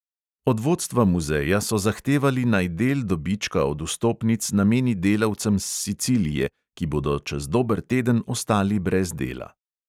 Od vodstva muzeja so zahtevali, naj del dobička od vstopnic nameni delavcem s sicilije, ki bodo čez dober teden ostali brez dela.